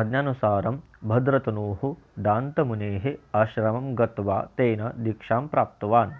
आज्ञानुसारं भद्रतनुः दान्तमुनेः आश्रमं गत्वा तेन दीक्षां प्राप्तवान्